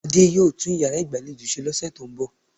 Adé yóò tún iyàrá ìgbàlejò se ní òsè tó n bò